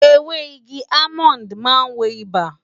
Ewé igi almond maa ń wo ibà